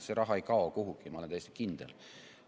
See raha ei kao kuhugi, ma olen täiesti kindel.